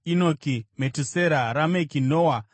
Inoki, Metusera, Rameki, Noa.